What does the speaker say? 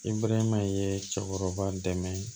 I burɛ ye cɛkɔrɔba dɛmɛ ye